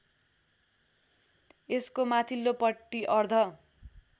यसको माथिल्लोपट्टि अर्ध